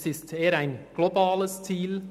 Es handelt sich eher um ein globales Ziel.